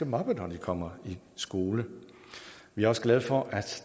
mobber når de kommer i skole vi er også glade for at